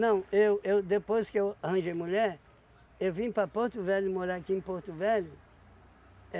eu eu depois que eu arranjei mulher, eu vim para Porto Velho, morar aqui em Porto Velho.